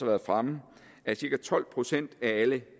været fremme at cirka tolv procent af alle